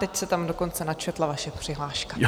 Teď se tam dokonce načetla vaše přihláška.